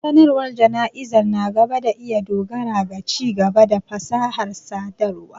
Sanarwar jana'izar na gaba na iya dogara ga ci-gaba da fasahar sadarwa.